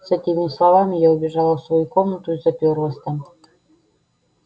с этими словами я убежала в свою комнату и запёрлась там